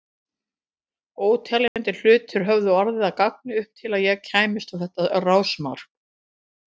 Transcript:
Óteljandi hlutir höfðu orðið að ganga upp til að ég kæmist á þetta rásmark.